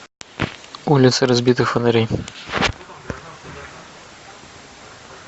улицы разбитых фонарей